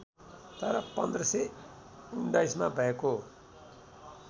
तर १५१९ मा भएको